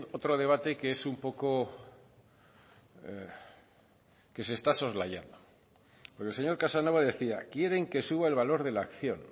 otro debate que es un poco que se está soslayando porque el señor casanova decía quieren que suba el valor de la acción